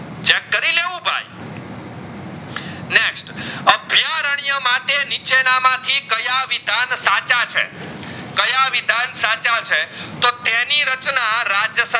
ના માં થી કયા વિધાન સાચા છે કયા વિધાન સાચા છે તો તેની રચના રાજ